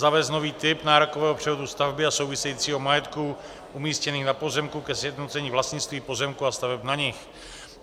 zavést nový typ nárokového převodu stavby a souvisejícího majetku umístěných na pozemku ke sjednocení vlastnictví pozemků a staveb na nich.